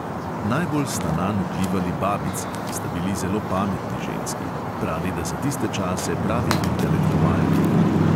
Najbolj sta nanj vplivali babici, ki sta bili zelo pametni ženski, pravi, da za tiste čase pravi intelektualki.